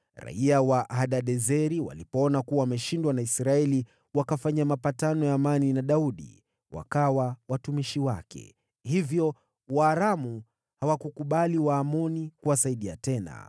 Raiya wa Hadadezeri walipoona kuwa wameshindwa na Israeli, wakafanya mapatano ya amani na Daudi, wakawa watumishi wake. Hivyo Waaramu hawakukubali kuwasaidia Waamoni tena.